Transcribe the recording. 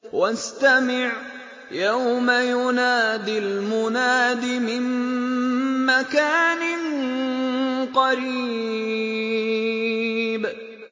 وَاسْتَمِعْ يَوْمَ يُنَادِ الْمُنَادِ مِن مَّكَانٍ قَرِيبٍ